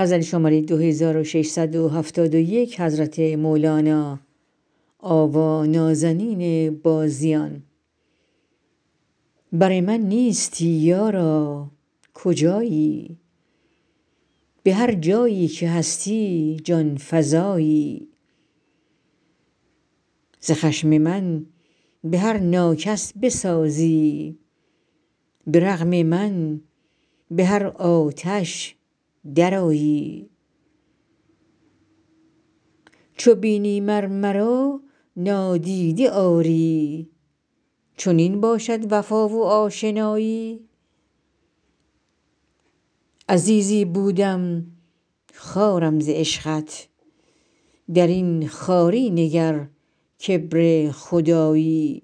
بر من نیستی یارا کجایی به هر جایی که هستی جان فزایی ز خشم من به هر ناکس بسازی به رغم من به هر آتش درآیی چو بینی مر مرا نادیده آری چنین باشد وفا و آشنایی عزیزی بودم خوارم ز عشقت در این خواری نگر کبر خدایی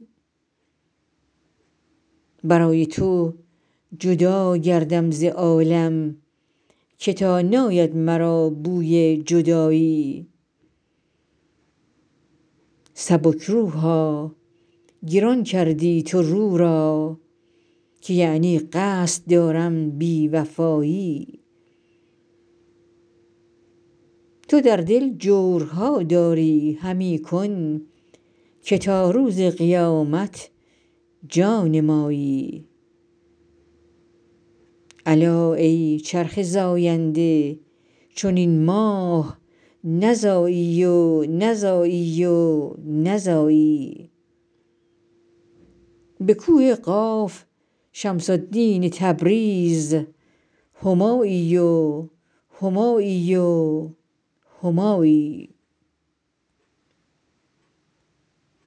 برای تو جدا گردم ز عالم که تا ناید مرا بوی جدایی سبک روحا گران کردی تو رو را که یعنی قصد دارم بی وفایی تو در دل جورها داری همی کن که تا روز قیامت جان مایی الا ای چرخ زاینده چنین ماه نزایی و نزایی و نزایی به کوه قاف شمس الدین تبریز همایی و همایی و همایی